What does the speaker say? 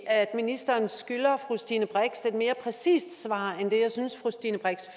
ministeren skylder fru stine brix et lidt mere præcist svar end det jeg synes fru stine brix